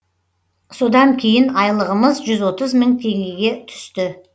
содан кейін айлығымыз жүз отыз мың теңгеге түсті